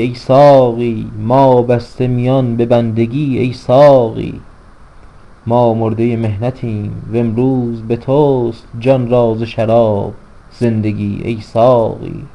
ای ساقی ما بسته میان به بندگی ای ساقی ما مرده محنتیم و امروز به تست جان را ز شراب زندگی ای ساقی